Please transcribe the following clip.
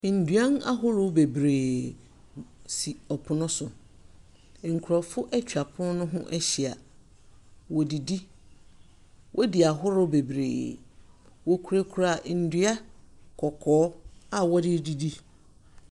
Nduan ahoro bebree si ɔpon no so. Nkorɔfo etwa pon no ho ehyia. Wɔdidi, wodi ahoro bebree, wokurakura ndua kɔkɔɔ a wɔde redidi.